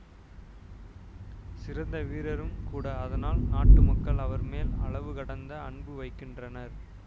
சிறந்த வீரரும்கூட அதனால் நாட்டு மக்கள் அவர் மேல் அளவு கடந்த அன்பு வைக்கின்றனர்